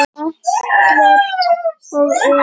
Ellert og Elín.